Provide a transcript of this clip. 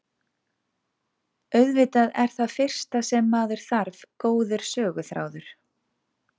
Auðvitað er það fyrsta sem maður þarf góður söguþráður.